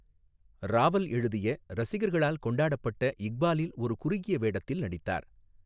ராவல் எழுதிய ரசிகர்களால் கொண்டாடப்பட்ட இக்பாலில் ஒரு குறுகிய வேடத்தில் நடித்தார்.